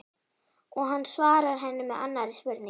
Og hann svarar henni með annarri spurningu